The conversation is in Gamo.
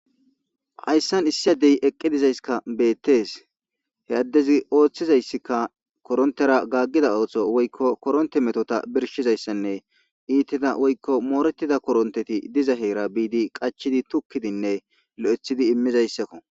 hayssan issi addey eqqi dizayskka beettes he addezi ooththizayssikka korontera gaggida ooththo woykko koronte metota birshizayssanne iitida woykko moorettida koronteti diza heera biidi qachidi tukkidinne lo7ethidi immizayssakko